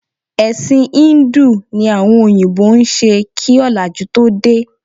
Ẹ̀sìn híńdù ni àwọn òyìnbó ń ṣe kí ọ̀làjú tó dé